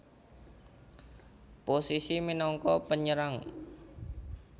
Posisi minangka penyerang